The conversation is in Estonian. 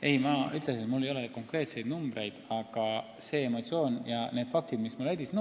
Ei, ma ütlesin, et mul ei ole konkreetseid numbreid, aga mul tekkis emotsioon.